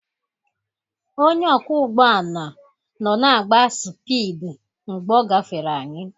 Onye ọkwọ ụgbọ ala nọ na-agba sipidi mgbe ọ gafere anyị.